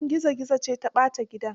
Yanar gizo gizo ce ta ɓata gidan.